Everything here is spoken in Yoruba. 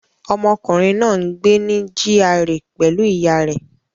Ọmọkùnrin náà ń gbé ní GRA pẹ̀lú ìyá rẹ̀